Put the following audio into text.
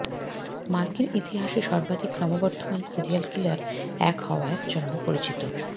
মার্কিন ইতিহাসে সর্বাধিক ক্রমবর্ধমান সিরিয়াল কিলার এক হওয়ার জন্য পরিচিত